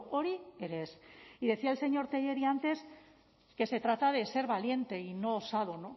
hori ere ez y decía el señor tellería antes que se trata de ser valiente y no osado